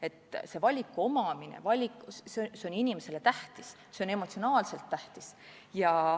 Hilisema valiku võimalus on inimesele tähtis, see on emotsionaalselt tähtis.